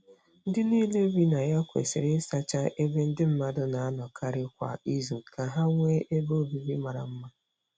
Ndị niile bi na ya kwesịrị ịsacha ebe ndị mmadụ na-anọkarị kwa izu ka ha nwee ebe obibi mara mma.